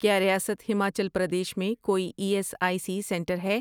کیا ریاست ہماچل پردیش میں کوئی E S I C centre ہے؟